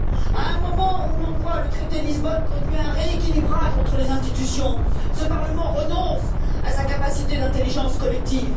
À un moment où l'on voit le traité de Lisbonne conduire à un rééquilibrage entre les institutions, ce Parlement renonce à sa capacité d'intelligence collective.